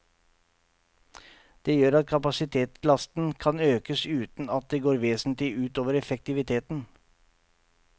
Det gjør at kapasitetslasten kan økes uten at det går vesentlig ut over effektiviteten.